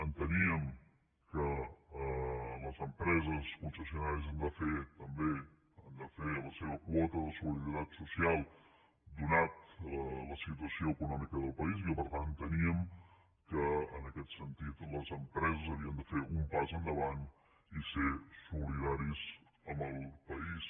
enteníem que les empreses concessionàries han de fer també la seva quota de solidaritat social atesa la situació econòmica del país i que per tant enteníem que en aquest sentit les empreses havien de fer un pas endavant i ser solidàries amb el país